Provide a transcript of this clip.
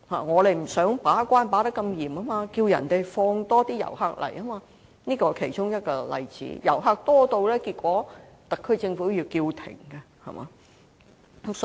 我們不想把關過嚴，便要求內地放更多旅客來港，結果旅客多到要特區政府喊停。